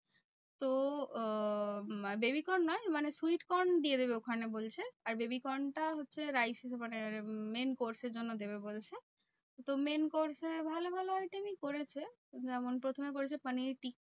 তো আহ baby corn নয়, মানে sweet corn দিয়ে দেবে ওখানে বলছে। আর baby corn টা হচ্ছে rice মানে main course এর জন্য দেবে বলছে। তো main course এ ভালো ভালো item ই করেছে। যেমন প্রথমে করেছে পানির টিক্কা।